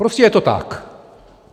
Prostě je to tak.